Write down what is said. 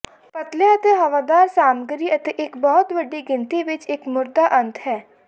ਪਤਲੇ ਅਤੇ ਹਵਾਦਾਰ ਸਾਮੱਗਰੀ ਅਤੇ ਇੱਕ ਬਹੁਤ ਵੱਡੀ ਗਿਣਤੀ ਵਿੱਚ ਇੱਕ ਮੁਰਦਾ ਅੰਤ ਹੈ